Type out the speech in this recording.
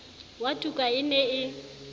wa tuka e ne e